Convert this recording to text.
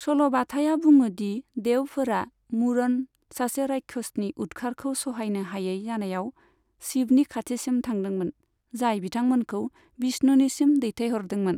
सल'बाथाया बुङो दि देवफोरा, 'मुरन', सासे रायक्षसनि उदखारखौ सहायनो हायै जानायाव, शिवनि खाथिसिम थांदोंमोन, जाय बिथांमोनखौ विष्णुनिसिम दैथायहरदोंमोन।